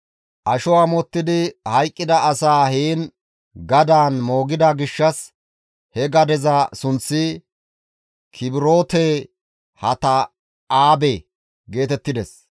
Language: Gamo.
Asho amottidi hayqqida asaa heen gadaan moogida gishshas he gadeza sunththi, «Kibroote-Hatta7aabe» geetettides.